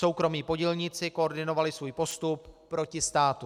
Soukromí podílníci koordinovali svůj postup proti státu.